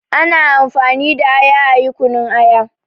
Ana amfani da aya ayi kunun aya